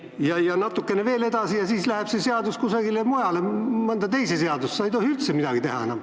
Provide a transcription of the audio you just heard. Ja läheb aeg natuke veel edasi ning ehk kandub see põhimõte ka mõnda teise seadusesse, nii et sa ei tohi enam üldse midagi teha.